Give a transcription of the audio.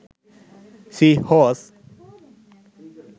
sea horse